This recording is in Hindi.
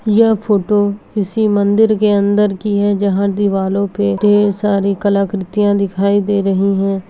यह फोटो किसी मंदिर के अंदर की है जहाँ दीवारों पे ढ़ेर सारी कलाकृतियां दिखाई दे रहीं हैं।